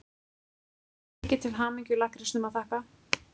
Mikið til hamingju-lakkrísnum að þakka.